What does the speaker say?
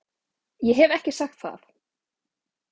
Ég hef ekki sagt það!